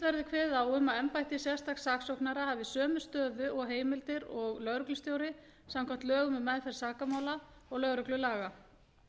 verði kveðið á um að embætti sérstaks saksóknara hafi sömu stöðu og heimildir og lögreglustjóri samkvæmt lögum um meðferð sakamála og lögreglulaga